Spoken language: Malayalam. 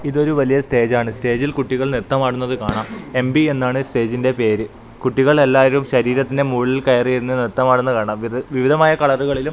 ഇതൊരു വലിയ സ്റ്റേജ് ആണ് സ്റ്റേജിൽ കുട്ടികൾ നൃത്തം ആടുന്നത് കാണാം എം_പി എന്നാണ് സ്റ്റേജിന്റെ പേര് കുട്ടികൾ എല്ലാവരും ശരീരത്തിന്റെ മോളിൽ കയറിയിരുന്നു നൃത്തം ആടുന്നത് കാണാം വിവി വിവിധമായ കളറുകളിലും--